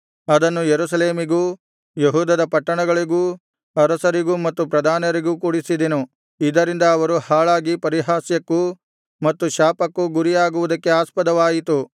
ಅದನ್ನು ಯೆರೂಸಲೇಮಿಗೂ ಯೆಹೂದದ ಪಟ್ಟಣಗಳಿಗೂ ಅರಸರಿಗೂ ಮತ್ತು ಪ್ರಧಾನರಿಗೂ ಕುಡಿಸಿದೆನು ಇದರಿಂದ ಅವರು ಹಾಳಾಗಿ ಪರಿಹಾಸ್ಯಕ್ಕೂ ಮತ್ತು ಶಾಪಕ್ಕೂ ಗುರಿಯಾಗುವುದಕ್ಕೆ ಆಸ್ಪದವಾಯಿತು